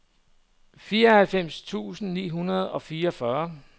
femoghalvfems tusind ni hundrede og fireogfyrre